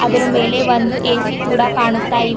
ಅದರ ಮೇಲೆ ಒಂದು ಎ_ಸಿ ಕೂಡ ಕಾಣುತ್ತಾ ಇವ್--